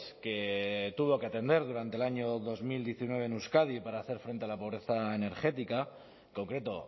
que tuvo que atender durante el año dos mil diecinueve en euskadi para hacer frente a la pobreza energética en concreto